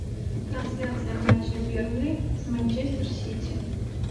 трансляция матча бернли с манчестер сити